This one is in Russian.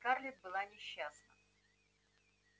и скарлетт была несчастна